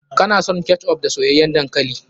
Kana son ketchup da soyayyan dankali?